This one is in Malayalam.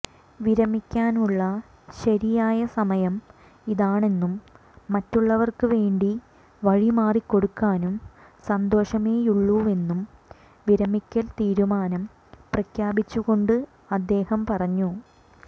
വിരമിക്കാനുള്ള ശരിയായ സമയം ഇതാണെന്നും മറ്റുള്ളവർക്ക് വേണ്ടി വഴിമാറി കൊടുക്കാൻ സന്തോഷമേയുള്ളൂവെന്നും വിരമിക്കൽ തീരുമാനം പ്രഖ്യാപിച്ചു കൊണ്ട് അദ്ദേഹം പറഞ്ഞു